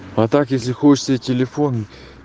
а так если хочешь себе телефон